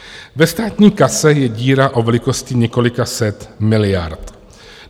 Ve státní kase je díra o velikosti několika set miliard.